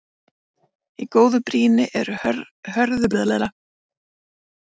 Í góðu brýni eru hörðu steindirnar kantaðar með meiri hörku en járn.